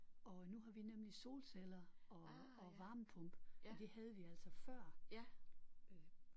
Og nu har vi nemlig solceller og og varmepumpe men det havde vi altså før